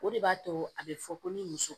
O de b'a to a bɛ fɔ ko ni muso